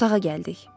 Otağa gəldik.